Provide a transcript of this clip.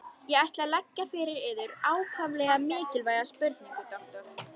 Ég ætla að leggja fyrir yður ákaflega mikilvæga spurningu, doktor.